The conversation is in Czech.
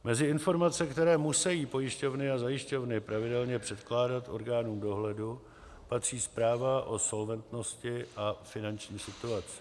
Mezi informace, které musejí pojišťovny a zajišťovny pravidelně předkládat orgánům dohledu, patří zpráva o solventnosti a finanční situaci.